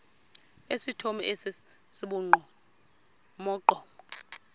esithomo esi sibugqomogqomo